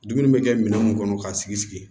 Dumuni bɛ kɛ minɛn mun kɔnɔ k'a sigi sigi